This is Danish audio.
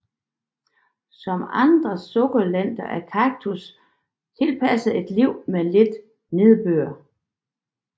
Som andre sukkulenter er kaktus tilpasset et liv med lidt nedbør